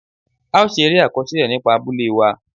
A ó ṣe eré àkọsílẹ̀ nípa abúlé wa.